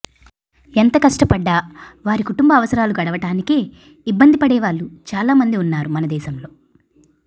ఎంత కష్ట పడ్డా వారి కుటుంబ అవసరాలు గడవటానికే ఇబ్బంది పడేవాళ్ళు చాలామంది వున్నారు మన దేశంలో